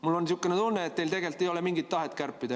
Mul on niisugune tunne, et teil ei ole mingit tahet kärpida.